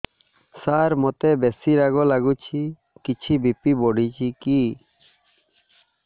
ସାର ମୋତେ ବେସି ରାଗ ଲାଗୁଚି କିଛି ବି.ପି ବଢ଼ିଚି କି